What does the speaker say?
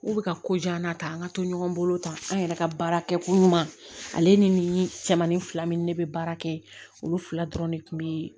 K'u bɛ ka ko diya n'a ta an ka to ɲɔgɔn bolo tan an yɛrɛ ka baarakɛko ɲuman ale ni cɛmanin fila min ni ne bɛ baara kɛ olu fila dɔrɔn de kun bɛ